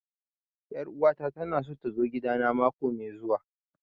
Ƴar uwa ta ta na so ta zo gida na mako mai zuwa